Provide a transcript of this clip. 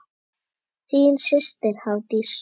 Þín systir, Hafdís.